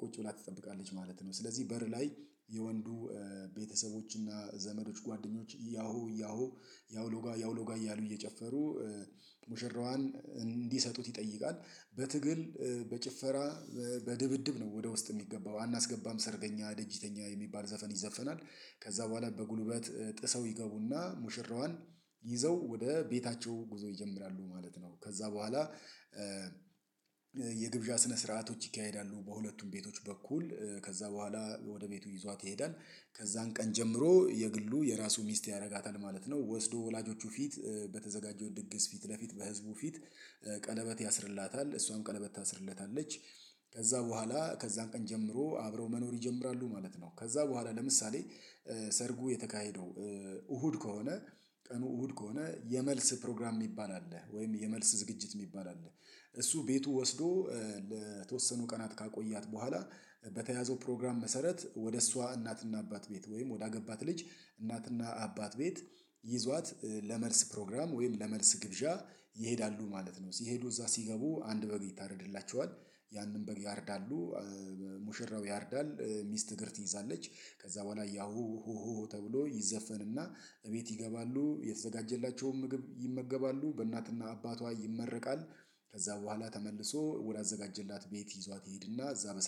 ቁጭ ብላ ትጠብቃለች ማለት ነው። ስለዚህ በር ላይ የወንዱ ቤተሰቦች እና ዘመዶች ጓደኞች ያሆ ያሆ ያው ሎጋ ያው ሎጋ እያሉ እየጨፈሩ ሙሽራዋን እንዲሰጡት ይጠይቃል። በትግል በጭፈራ በድብድብ ነው ወደ ውስጥ የሚገባው አናስገባም ሰርገኛ ደጅ ይተኛ የሚባል ዘፈን ይዘፈናል። ከዚያ በኋላ በጉልበት ጥሰው ይገቡና ሙሽራዋን ይዘው ወደ ቤታቸው ጉዞ ይጀምራሉ ማለት ነው። ከዚያ በኋላ የግብዣ ስነ ስርዓቶች ይካሄዳሉ። በሁለቱም ቤቶች በኩል ከዚያ በኋላ ወደ ቤቱ ይዟት ይሄዳል። ከዚያን ቀን ጀምሮ የግሉ የራሱ ሚስት ያደርጋታል ማለት ነው። ወስዶ ወላጆቹ ፊት በተዘጋጀው ድግስ ፊት ለፊት በህዝቡ ፊት ቀለበት ያስርላታል እሷም ቀለበት ታስርለታለች። ከዚያ በኋላ ከዚያን ቀን ጀምሮ አብረው መኖር ይጀምራሉ ማለት ነው። ከዚያ በኋላ ለምሳሌ ሰርጉ የተካሄደው እሁድ ከሆነ ቀኑ እሁድ ከሆነ የመልስ ፕሮግራም የሚባል አለ ወይም የመልስ ዝግጅት የሚባል አለ። እሱ ቤቱ ወስዶ ለተወሰኑ ቀናት ካቆያት በኋላ በተያዘው ፕሮግራም መሰረት ወደ እሷ እናትና አባት ቤት ወይም ወደ አገባት ልጅ እናትና አባት ቤት ይዟት ለመልስ ፕሮግራም ወይም ለመልስ ግብዣ ይሄዳሉ ማለት ነው። ሲሄዱ እዚያ ሲገቡ አንድ በግ ይታረድላቸዋል። ያንን በግ ያርዳሉ። ሙሽራው ያርዳል። ሚስት እግርት ትይዛለች ከዚያ በኋላ ያሁ ሆሆ ተብሎ ይዘፈንና ቤት ይገባሉ የተዘጋጀላቸውን ምግብ ይመገባሉ በእናትና አባቷ ይመረቃል። ከዚያ በኋላ ተመልሶ ወደ አዘጋጀላት ቤት ይዟት ይሄድና እዚያ በሰላም